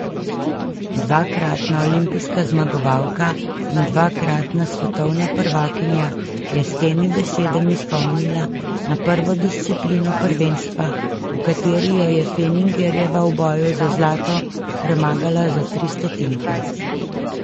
Dvakratna olimpijska zmagovalka in dvakratna svetovna prvakinja je s temi besedami spomnila na prvo disciplino prvenstva, v kateri jo je Fenningerjeva v boju za zlato premagala za tri stotinke.